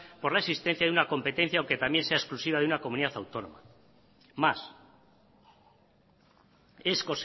por la existencia de una competencia aunque también sea exclusiva de una comunidad autónoma más es